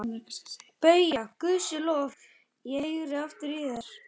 BAUJA: Guði sé lof, ég heyri aftur í þér!